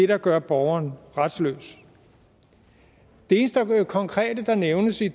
der gør borgeren retsløs det eneste konkrete der nævnes i